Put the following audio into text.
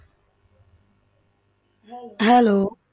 Hello